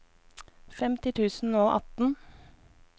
femti tusen og atten